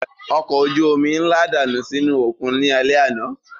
Ọkọ̀ ojú omi ńlá dànù sínú òkun ní alẹ́ àná